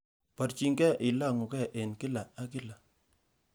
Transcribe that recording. Borchinge ilong'ugee en kila ak kila.